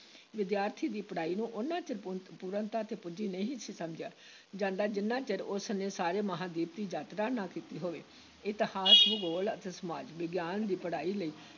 ਵਿਦਿਆਰਥੀਆਂ ਦੀ ਪੜ੍ਹਾਈ ਨੂੰ ਓਨਾ ਚਿਰ ਪੂ ਪੂਰਨਤਾ ‘ਤੇ ਪੁੱਜੀ ਨਹੀਂ ਸੀ ਸਮਝਿਆ ਜਾਂਦਾ, ਜਿੰਨਾ ਚਿਰ ਉਸ ਨੇ ਸਾਰੇ ਮਹਾਂਦੀਪ ਦੀ ਯਾਤਰਾ ਨਾ ਕੀਤੀ ਹੋਵੇ, ਇਤਿਹਾਸ ਭੂਗੋਲ ਅਤੇ ਸਮਾਜ ਵਿਗਿਆਨ ਦੀ ਪੜ੍ਹਾਈ ਲਈ